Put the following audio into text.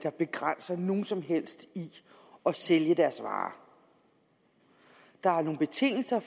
der begrænser nogen som helst i at sælge deres varer der er nogle betingelser